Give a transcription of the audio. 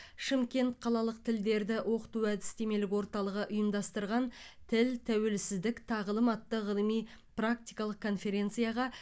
шымкент қалалық тілдерді оқыту әдістемелік орталығы ұйымдастырған тіл тәуелсіздік тағылым атты ғылыми практикалық конференцияға